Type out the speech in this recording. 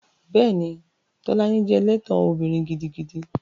Bẹ́ẹ̀ni, Tolani jẹ́ ẹlẹ́tàn obìnrin gidigidi